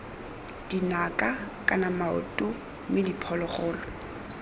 dinaka kana maoto mme diphologolo